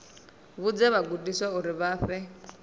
vhudze vhagudiswa uri vha fhe